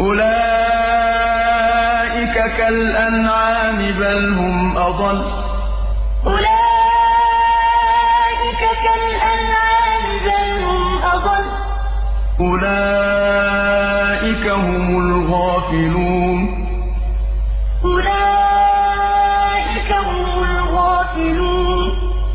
أُولَٰئِكَ كَالْأَنْعَامِ بَلْ هُمْ أَضَلُّ ۚ أُولَٰئِكَ هُمُ الْغَافِلُونَ وَلَقَدْ ذَرَأْنَا لِجَهَنَّمَ كَثِيرًا مِّنَ الْجِنِّ وَالْإِنسِ ۖ لَهُمْ قُلُوبٌ لَّا يَفْقَهُونَ بِهَا وَلَهُمْ أَعْيُنٌ لَّا يُبْصِرُونَ بِهَا وَلَهُمْ آذَانٌ لَّا يَسْمَعُونَ بِهَا ۚ أُولَٰئِكَ كَالْأَنْعَامِ بَلْ هُمْ أَضَلُّ ۚ أُولَٰئِكَ هُمُ الْغَافِلُونَ